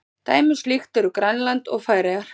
Dæmi um slíkt eru Grænland og Færeyjar.